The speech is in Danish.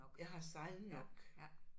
Jeg har sejlet nok